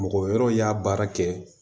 Mɔgɔ wɛrɛw y'a baara kɛ